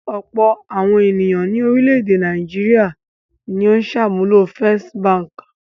Ọ̀pọ̀ àwọn ènìyàn ní orílẹ̀-èdè Nàìjíríà ni ó ń ṣàmúlò First Báńkì.